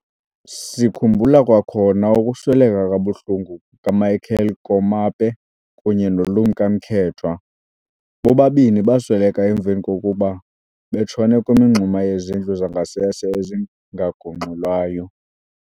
Sikhumbula kwakhona ukusweleka kabuhlungu kukaMichael Komape kunye noLumka Mkethwa, bobabini basweleka emva kokuba betshone kwimingxuma yezindlu zangasese ezingagungxulwayo.